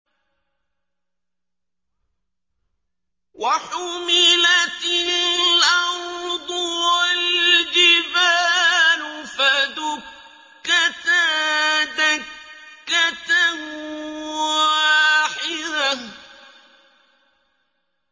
وَحُمِلَتِ الْأَرْضُ وَالْجِبَالُ فَدُكَّتَا دَكَّةً وَاحِدَةً